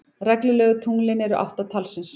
Reglulegu tunglin eru átta talsins.